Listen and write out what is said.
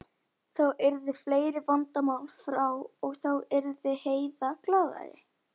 Þá yrðu fleiri vandamál frá og þá yrði Heiða glaðari.